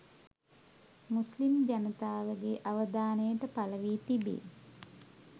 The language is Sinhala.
මුස්ලිම් ජනතාවගේ අවධානය පළ වී තිබේ